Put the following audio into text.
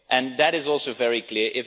That is also very clear.